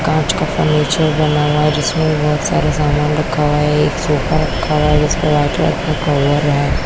कांच का फर्नीचर बना हुआ है जिसमें बहुत सारे सामान रखा हुआ है एक सोफा रखा हुआ है जिसमें वाइट कलर का कवर है।